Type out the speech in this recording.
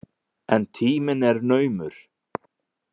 En tíminn er naumur.